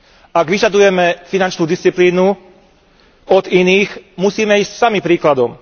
Ak vyžadujeme finančnú disciplínu od iných, musíme ísť sami príkladom.